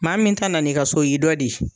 Maa min ta na n'i ka so o y'i dɔ de ye.